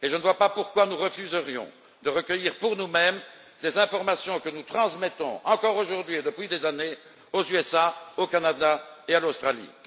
Et je ne vois pas pourquoi nous refuserions de recueillir pour nous mêmes des informations que nous transmettons, encore aujourd'hui, et depuis des années, aux États Unis, au Canada et à l'Australie.